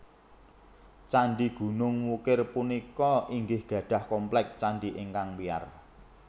Candhi Gunung Wukir punika inggih gadhah kompleks candhi ingkang wiyar